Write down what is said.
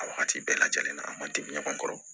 A wagati bɛɛ lajɛlen na an man tɛbi ɲɔgɔn kɔrɔ